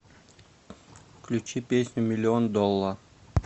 включи песню миллион долла